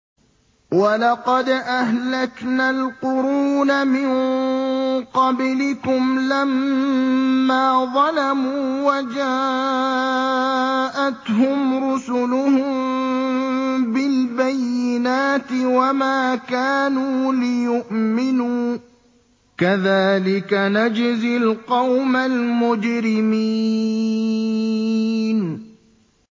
وَلَقَدْ أَهْلَكْنَا الْقُرُونَ مِن قَبْلِكُمْ لَمَّا ظَلَمُوا ۙ وَجَاءَتْهُمْ رُسُلُهُم بِالْبَيِّنَاتِ وَمَا كَانُوا لِيُؤْمِنُوا ۚ كَذَٰلِكَ نَجْزِي الْقَوْمَ الْمُجْرِمِينَ